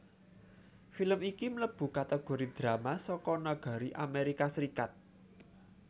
Film iki mlèbu kategori drama saka nagari Amerika Serikat